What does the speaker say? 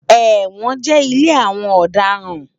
Ewòn jè ilé áwòn òdarán